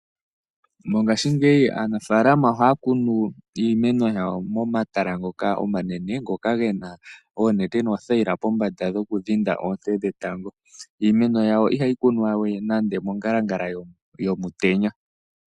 Mongashingeyi aanafaalama ohaya kunu iimeno yawo momatala ngoka omanene, ngoka gena oonete noothayila pombanda dhokudhinda oonte dhetango. Iimeno yawo ihayi kunwa we nande omongalangala yomutenya.